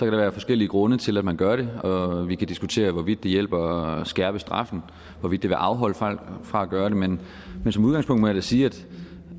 der være forskellige grunde til at man gør det og vi kan diskutere hvorvidt det hjælper at skærpe straffen hvorvidt det vil afholde folk fra at gøre det men som udgangspunkt må jeg sige